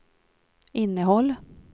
innehåll